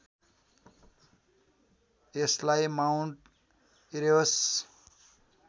यसलाई Mount Erebus